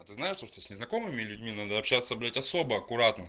а ты знаешь то что с незнакомыми людьми надо общаться блять особо аккуратно